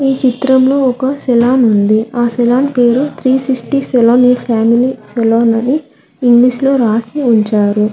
చిత్రంలో ఒక సలోన్ ఉంది ఆ సలోన్ పేరు three sixty a family salon అని రాసి ఉంచారు.